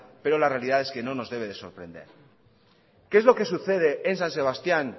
pero la realidad es que no nos debe de sorprender qué es lo que sucede en san sebastián